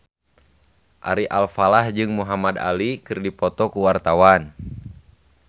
Ari Alfalah jeung Muhamad Ali keur dipoto ku wartawan